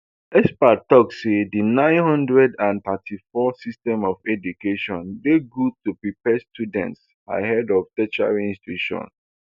experts tok saydi nine hundred and thirty-four system of education dey goodto prepare students ahead of tertiary institution